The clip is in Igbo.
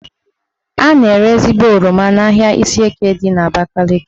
A na-ere ezigbo oroma n'ahia Ishieke dị n'Abakaliki